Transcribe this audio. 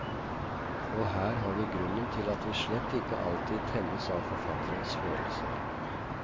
Og her har vi grunnen til at vi slett ikke alltid tennes av forfatterens følelser.